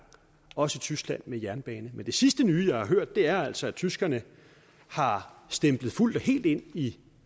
også i tyskland med jernbanen men det sidste nye jeg har hørt er altså at tyskerne har stemplet fuldt og helt ind i